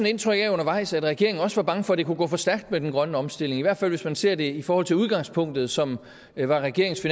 indtrykket af undervejs at regeringen også var bange for at det kunne gå for stærkt med den grønne omstilling i hvert fald hvis man ser det i forhold til udgangspunktet som var regeringens